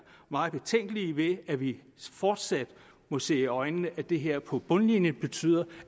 meget betænkelige ved at vi fortsat må se i øjnene at det her på bundlinjen betyder